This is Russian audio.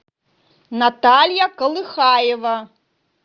наталья колыхаева